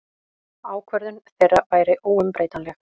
Ákvörðun þeirra væri óumbreytanleg.